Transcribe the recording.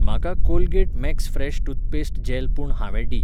म्हाका Colgate Max fresh toothpaste gel पूण हांवें डी.